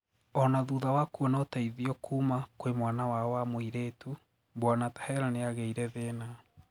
Ona thutha wa kuona ũteithio kuuma kwi mwana wao wa mwiretu, bwana Taher niageire thina.